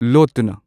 ꯂꯣꯠꯇꯨꯅ